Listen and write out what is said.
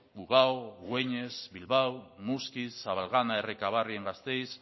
ugao güenes bilbao muskiz zabalgana errekabarri en gasteiz